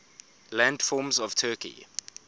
landforms of turkey